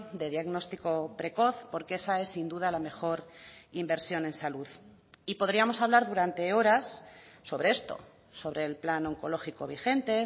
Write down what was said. de diagnóstico precoz porque esa es sin duda la mejor inversión en salud y podríamos hablar durante horas sobre esto sobre el plan oncológico vigente